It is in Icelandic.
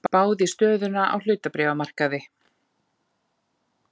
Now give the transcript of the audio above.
Spáð í stöðuna á hlutabréfamarkaði.